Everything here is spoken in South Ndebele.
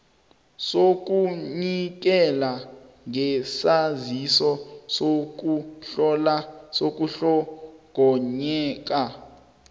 sokunikela ngesaziso sokuhlongakala